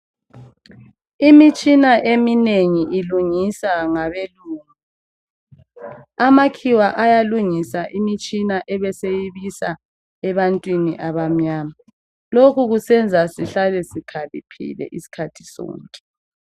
Imitshina eminengi ilungisa ngabelungu. Amakhiwa ayalungisa imitshina abe seyibisa ebantwini abamnyama . Lokhu kusenza sihlale sikhaliphile isikhathi sonke.